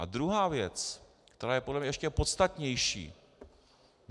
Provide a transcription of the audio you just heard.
A druhá věc, která je podle mě ještě podstatnější.